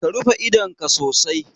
Ka rufe idonka sosai